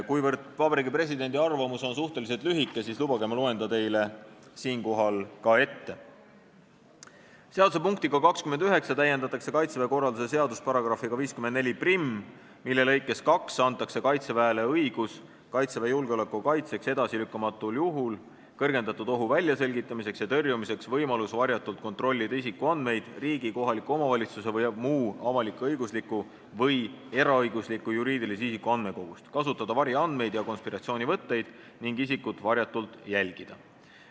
" Kuivõrd Vabariigi Presidendi arvamus on suhteliselt lühike, siis lubage, et ma loen ta teile siinkohal ette: "Seaduse punktiga 29 täiendatakse "Kaitseväe korralduse seadust" §-ga 541, mille lõikes 2 antakse Kaitseväele õigus kaitseväe julgeolekuala kaitseks edasilükkamatul juhul kõrgendatud ohu väljaselgitamiseks ja tõrjumiseks võimalus varjatult kontrollida isikuandmeid riigi, kohaliku omavalitsuse või muu avalik-õigusliku või eraõigusliku juriidilise isiku andmekogust, kasutada variandmeid ja konspiratsioonivõtteid ning isikut varjatult jälgida.